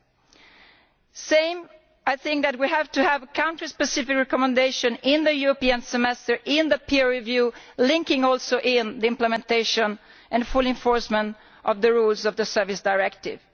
Likewise, I think we have to have a country specific recommendation in the European Semester, in the peer review and also linking to the implementation and full enforcement of the rules of the Services Directive.